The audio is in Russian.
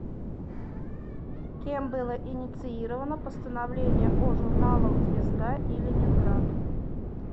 кем было инициировано постановление о журналах звезда и ленинград